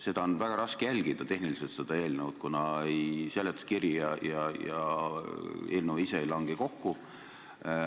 Seda eelnõu on üldse tehniliselt väga raske mõista, kuna seletuskiri ja eelnõu ei lange kokku.